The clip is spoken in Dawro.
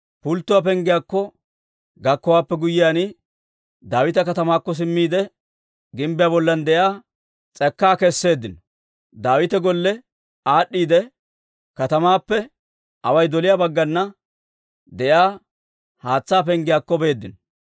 Pulttuwaa Penggiyaakko gakkowaappe guyyiyaan, Daawita Katamaakko simmiide, gimbbiyaa bollan de'iyaa s'ekkaa keseeddino; Daawita golle aad'd'iide, katamaappe away doliyaa baggana de'iyaa Haatsaa Penggiyaakko beeddino.